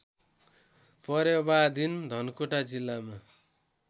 परेवादिन धनकुटा जिल्लामा